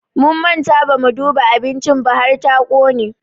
Mun manta bamu duba abincin ba har ta ƙone.